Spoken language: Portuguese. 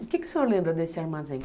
O que o senhor lembra desse armazém?